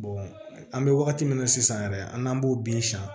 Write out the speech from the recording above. an bɛ wagati min na sisan yɛrɛ an n'an b'o bin san